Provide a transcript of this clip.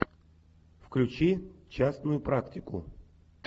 включи частную практику